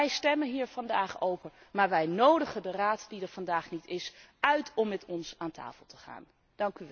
Wij stemmen hier vandaag over, maar wij nodigen de Raad die er vandaag niet is, uit om met ons rond de tafel te gaan zitten.